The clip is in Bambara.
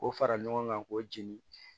K'o fara ɲɔgɔn kan k'o jeni